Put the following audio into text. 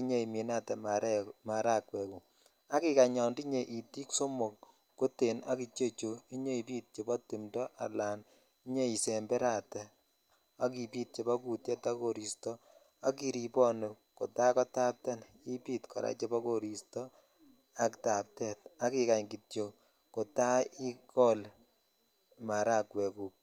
i nyoiminatee maragwek guk ak ikany yo tiny itik somok chete ak chuu inyoisember ala ibit chebo timto ak koristo ak iribon kota kotapten inyoibit chebo koristo ak taptet ak ikany kityok kota iges maragwek guk.